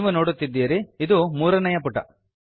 ನೀವು ನೋಡುತ್ತಿದ್ದೀರಿ ಇದು ಮೂರನೆಯ ಪುಟ